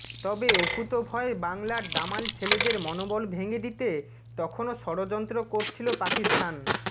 তবে অকুতোভয় বাংলার দামাল ছেলেদের মনোবল ভেঙে দিতে তখনো ষড়যন্ত্র করছিল পাকিস্তান